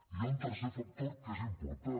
hi ha un tercer factor que és important